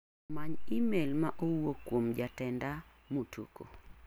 Many imel ma owuok kuom jatenda Mutuku.